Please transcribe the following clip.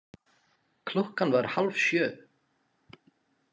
Klukkan var hálf sjö.